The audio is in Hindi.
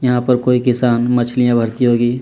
हाँ पर कोई किसान मछलीया भर्ती होगी।